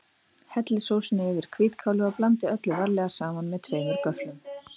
Hellið sósunni yfir hvítkálið og blandið öllu varlega saman með tveimur göfflum.